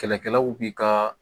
Kɛlɛkɛlaw b'i ka